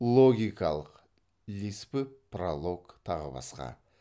логикалық лиспы пролог тағы басқа